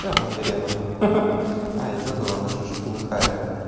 она сгорела ха-ха а я забыл она уже полыхает